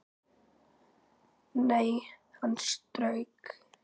Nei, hann strauk